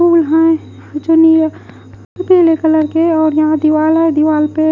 जो यहां है जो नी अ पीले कलर के और यहाँ दीवाल है दीवाल पे--